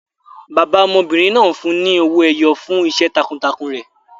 Bàbá ọmọbìnrin náà fún un ní owó ẹyọ fún iṣẹ́ takuntakun rẹ̀.